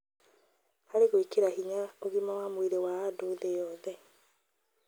harĩ gwĩkĩra hinya ũgima wa mwĩrĩ wa andũ thĩ yothe.